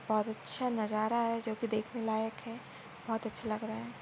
बहुत अच्छा नजारा है जोकी देखने लायक है बहुत अच्छा लग रहा है।